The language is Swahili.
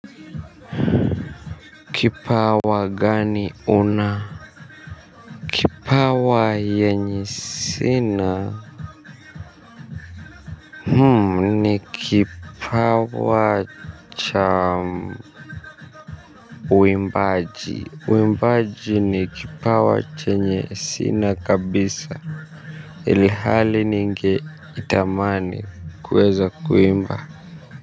Kipawa gani una. Kipawa yenye sina. Ni kipawa cha uimbaji. Uimbaji ni kipawa chenye sina kabisa. Ilihali ninge itamani kuweza kuimba. Kwa hivyo.